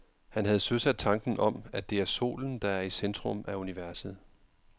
Han havde søsat tanken om, at det er solen, der er i centrum af universet.